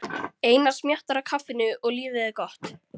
Einar smjattar á kaffinu og lífið er gott.